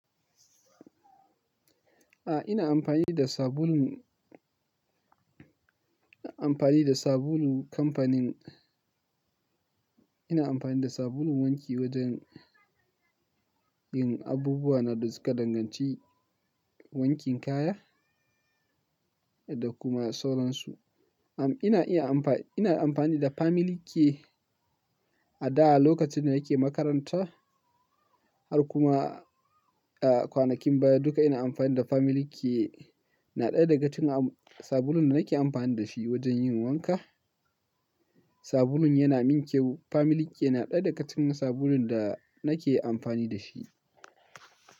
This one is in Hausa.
A'a, ina amfani da sabulun, ina amfani da sabulu kamfanin-- ina amfani da sabulun wanki wajen yin abubuwa na duka danganci wankin kaya da kuma sauransu. Am, ina iya amfani, ina amfani da Family Care a da lokacin da nake makaranta har kuma, a, kwanakin baya duka ina amfani da Family Care. Na ɗaya daga cikin sabulun da nake amfani da shi wajen yin wanka. Sabulun yana min kyau. Family Care na ɗaya daga cikin sabulun da nake amfani da shi.